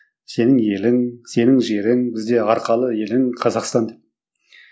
сенің елің сенің жерің бізде арқалы елің қазақстан деп